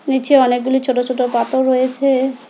নীচে অনেকগুলি ছোট ছোট পাথর রয়েছে।